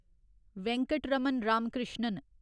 Venkataraman Ramakrishnan